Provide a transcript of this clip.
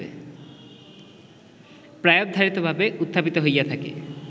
প্রায়োবধারিতভাবে উত্থাপিত হইয়া থাকে